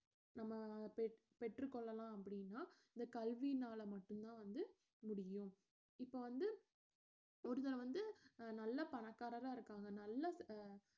நம்ம பெற்~ பெற்றுக் கொள்ளலாம் அப்படின்னா இந்த கல்வியினால மட்டும்தான் வந்து முடியும் இப்ப வந்து ஒருத்தன் வந்து நல்ல பணக்காரங்களா இருக்காங்க நல்லா அஹ்